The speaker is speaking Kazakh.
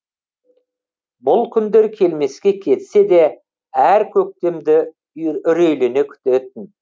бұл күндер келмеске кетсе де әр көктемді үрейлене күтетін